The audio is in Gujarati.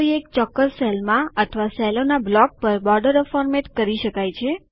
કોઈ એક ચોક્કસ સેલ અથવા સેલોના બ્લોક પર બોર્ડરો ફોર્મેટ કરી શકાય છે